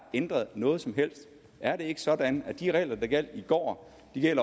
ændret noget som helst er det ikke sådan at de regler der gjaldt i går